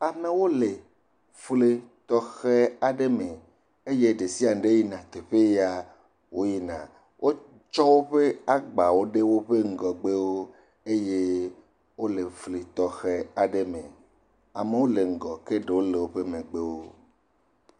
Amewo le fli tɔxɛ aɖe me eye ɖe sis ɖe yina teƒe ya woyina, wotsɔ woƒe agbawo ɖe woƒe ŋgɔgbewo eye wole fli tɔxɛ aɖe me, amewo le ŋgɔ ke ɖewo le woƒe megbewo.